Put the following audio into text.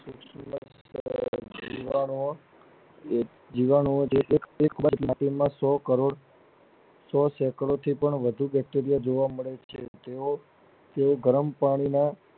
જીવા માં જીવવા માટે શું કરવું સો કરોડ સો ચક્રો થી પણ વધુ Bacteria જોવા મળે છે તેઓ તેઓ ગરમ પાણી માં